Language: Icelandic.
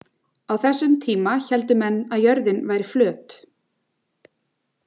Á þessum tíma héldu menn að jörðin væri flöt.